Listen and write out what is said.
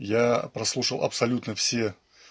я прослушал абсолютно все